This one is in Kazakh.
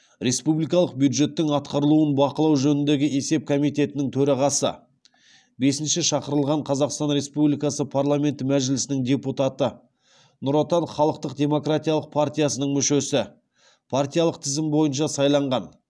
республикалық бюджеттің атқарылуын бақылау жөніндегі есеп комитетінің төрағасы бесінші шақырылған қазақстан республикасы парламенті мәжілісінің депутаты нұр отан халықтық демократиялық партиясының мүшесі партиялық тізім бойынша сайланған